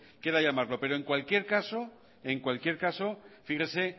quiera llamarlo pero en cualquier caso fíjese